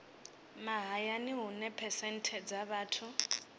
mahayani hune phesenthe dza vhathu